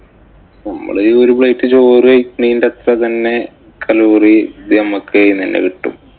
നമ്മള് ഈ ഒരു plate ചോറ് കഴിക്കണേന്‍റെ അത്ര തന്നെ കലോറി നമ്മക്ക് ഇതീന്ന് തന്നെ കിട്ടും.